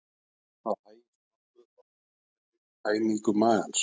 Það hægist nokkuð á eðlilegri tæmingu magans.